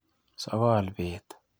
Sokol beet.